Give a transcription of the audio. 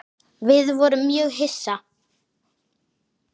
Við vorum mjög hissa.